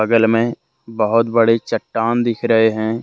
बगल में बहुत बड़ी चट्टान दिख रहे हैं।